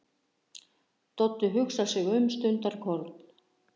Doddi hugsar sig um stundarkorn.